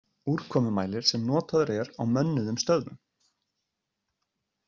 Úrkomumælir sem notaður er á mönnuðum stöðvum.